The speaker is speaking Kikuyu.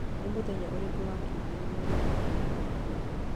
Nĩ mũthenya ũrĩkũ wa kiumia mweri wa kana mwaka ũyũ?